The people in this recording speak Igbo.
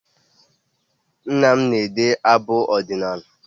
Nna m na-ede abụ ọdịnaala